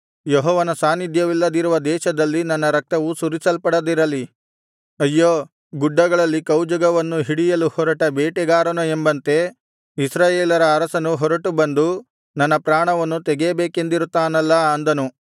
ಯೆಹೋವನ ಸಾನ್ನಿಧ್ಯವಿಲ್ಲದಿರುವ ದೇಶದಲ್ಲಿ ನನ್ನ ರಕ್ತವು ಸುರಿಸಲ್ಪಡದಿರಲಿ ಅಯ್ಯೋ ಗುಡ್ಡಗಳಲ್ಲಿ ಕೌಜುಗವನ್ನು ಹಿಡಿಯಲು ಹೊರಟ ಬೇಟೆಗಾರನೋ ಎಂಬಂತೆ ಇಸ್ರಾಯೇಲರ ಅರಸನು ಹೊರಟು ಬಂದು ನನ್ನ ಪ್ರಾಣವನ್ನು ತೆಗೆಯಬೇಕೆಂದಿರುತ್ತಾನಲ್ಲ ಅಂದನು